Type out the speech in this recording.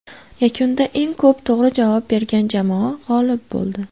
Yakunda eng ko‘p to‘g‘ri javob bergan jamoa g‘olib bo‘ldi.